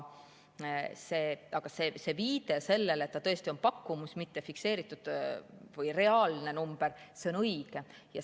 Aga see viide sellele, et ta tõesti on pakkumus, mitte fikseeritud või reaalne number, on õige.